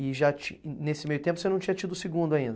E já ti, e nesse meio tempo você não tinha tido o segundo ainda?